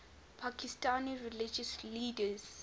pakistani religious leaders